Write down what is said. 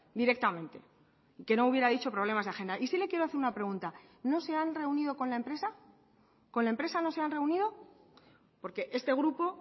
directamente que no hubiera dicho problemas de agenda y sí le quiero hacer una pregunta no se han reunido con la empresa con la empresa no se han reunido porque este grupo